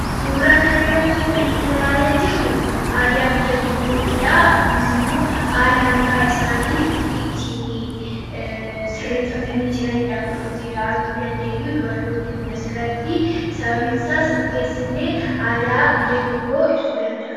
Suurraa kan irratti kan nutI laalaa jirru aadaa biyya tokkootidhaa. kuniis immoo haala mataa isaanii ittin sirreeffatanii jiraniidha. kan nuti arguu dandeenyu dubartoonni kun asirratti sababiinsaas rifeensa illee aadaa biyya tokkoo ibsuu danda'a.